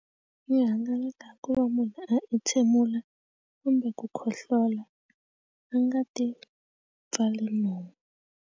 I hangalata ku va munhu a itshemula kumbe ku khohlola a nga ti pfali nomu.